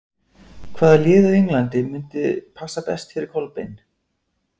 Hvaða lið á Englandi myndi passa best fyrir Kolbeinn?